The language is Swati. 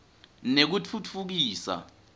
nekutfutfukiswa